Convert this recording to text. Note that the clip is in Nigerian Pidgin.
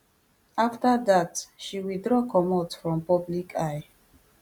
afta dat she withdraw comot from public eye